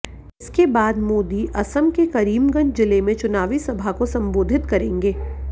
इसके बाद मोदी असम के करीमगंज जिले में चुनावी सभा को संबोधित करेंगे